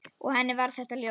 Og henni var þetta ljóst.